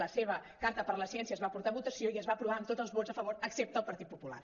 la seva carta per la ciència es va porta a vo·tació i es va aprovar amb tots les vots a favor excepte els del partit popular